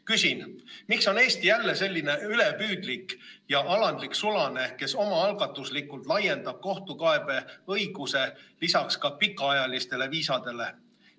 Küsin: miks on Eesti jälle selline ülipüüdlik ja alandlik sulane, kes omaalgatuslikult laiendab kohtukaebeõiguse lisaks ka pikaajalistele viisadele?